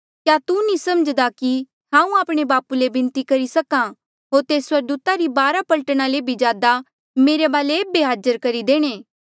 क्या तू नी समझ्दा कि हांऊँ आपणे बापू ले बिनती करी सक्हा होर तेस स्वर्गदूता री बारा पलटना ले भी ज्यादा मेरे वाले एेबे हाजर करी देणे